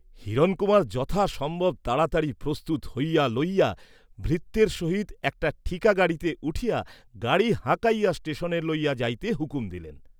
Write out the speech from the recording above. হিরণকুমার যথাসম্ভব তাড়াতাড়ি প্রস্তুত হইয়া লইয়া, ভৃত্যের সহিত একটা ঠিকা গাড়িতে উঠিয়া গাড়ী হাঁকাইয়া ষ্টেসনে লইয়া যাইতে হুকুম দিলেন।